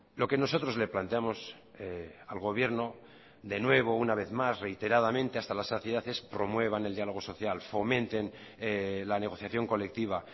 lo que nosotros le planteamos al gobierno de nuevo una vez más reiteradamente hasta la saciedad es promuevan el diálogo social fomenten la negociación colectiva